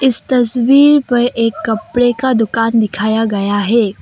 इस तस्वीर पर एक कपड़े का दुकान दिखाया गया है।